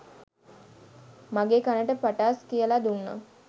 මගෙ කනට පටාස් කියලා දුන්නා.